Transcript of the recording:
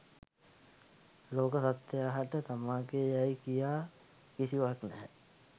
ලෝක සත්ත්වයා හට තමාගේ යයි කියා කිසිවක් නැහැ.